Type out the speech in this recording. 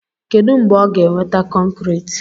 Kedu mgbe ọ ga-eweta kọnkriiti?